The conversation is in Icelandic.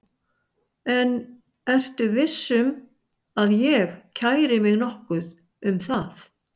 En ertu viss um að ég kæri mig nokkuð um það?